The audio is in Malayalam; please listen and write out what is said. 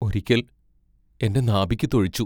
ഒരിക്കൽ എന്റെ നാഭിക്കു തൊഴിച്ചു.